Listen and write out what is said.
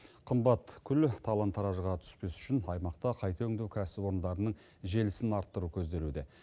қымбат күл талан таражға түспес үшін аймақта қайта өңдеу кәсіпорындарының желісін арттыру көзделуде